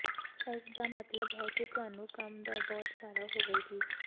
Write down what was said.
ਇਸ ਦਾ ਮਤਲਬ ਹੈ ਕਿ ਤੁਹਾਨੂੰ ਕੰਮ ਦਾ ਬਹੁਤ ਸਾਰਾ ਹੋਵੇਗੀ